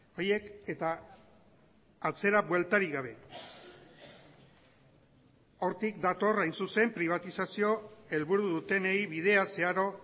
horiek eta atzera bueltarik gabe hortik dator hain zuzen pribatizazio helburu dutenei bidea zeharo